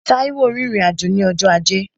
Táíwò rìnrìn-àjò ní ọjọ́ ajé